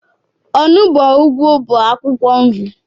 Onugbo, ugwu bụ akwụkwọ nri